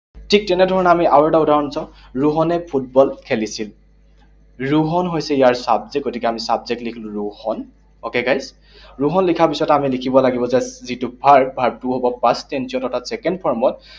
ঠিক তেনেধৰণে আমি আৰু এটা উদাহৰণ চাওঁ, ৰোহনে ফুটবল খেলিছিল। ৰোহন হৈছে ইয়াৰ subject, গতিকে আমি subject লিখিলো ৰোহন। Okay, guys? ৰোহন লিখাৰ পিছত আমি লিখিব লাগিব যে যিটো verb, verb টো হব past tense অৰ্থাৎ second form ত